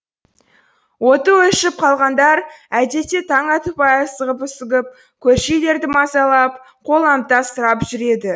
оты өшіп қалғандар әдетте таң атпай асығып үсігіп көрші үйлерді мазалап қоламта сұрап жүреді